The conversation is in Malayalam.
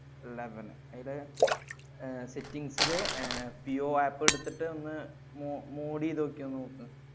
Eleven ഇത് അഹ് settings ല് അഹ് ജിയോ app എടുത്തിട്ടു ഒന്ന് മോ~ mode ചെയ്തു നോക്കിയെ ഒന്ന് നോക്ക.